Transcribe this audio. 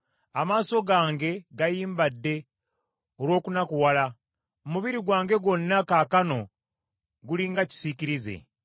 Amaaso gange gayimbadde olw’okunakuwala; omubiri gwange gwonna kaakano guli nga kisiikirize.